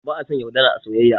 Ba a son yaudara a soyayya